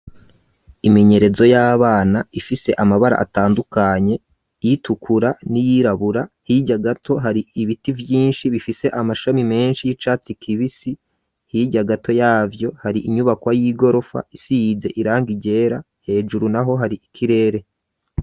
Imenyerezo y'abana, ifise amabara atandukanye; iyitukura, n'iyirabura; hirya gato, hari ibiti vyinshi, bifise amashami menshi, y'icatsi kibisi; hirya gato yavyo, hari inyubakwa y'igorofa, isize irangi ryera; hejuru naho, hari ikirere.